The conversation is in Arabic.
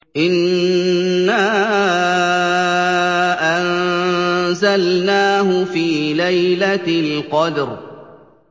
إِنَّا أَنزَلْنَاهُ فِي لَيْلَةِ الْقَدْرِ